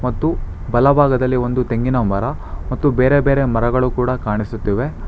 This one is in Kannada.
ಮತ್ತು ಬಲಭಾಗದಲ್ಲಿ ಒಂದು ತೆಂಗಿನ ಮರ ಮತ್ತು ಬೇರೆ ಬೇರೆ ಮರಗಳು ಕೂಡ ಕಾಣಿಸುತ್ತಿವೆ.